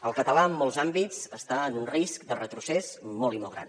el català en molts àmbits està en un risc de retrocés molt i molt gran